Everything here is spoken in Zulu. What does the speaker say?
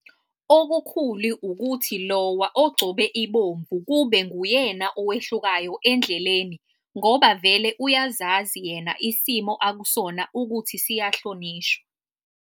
Okukhulu ukuthi Iowa ogcobe ibomvu kube nguyena owehlukayo endleleni ngoba vele uyazazi yena isimo akusona ukuthi siyahlonishwa.